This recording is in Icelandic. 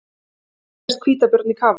Hér sést hvítabjörn í kafi.